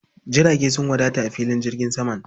Jirage sun wadata a filin jirgin saman?